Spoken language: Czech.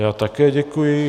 Já také děkuji.